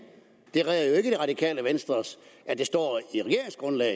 det redder jo ikke det radikale venstre at det står af